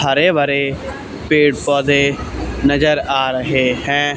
हरे भरे पेड़ पौधे नजर आ रहे हैं।